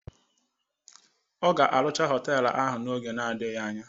Ọ ga-arụcha họtelu ahụ oge n'adịghị anya